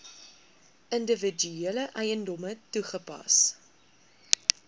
individuele eiendomme toegepas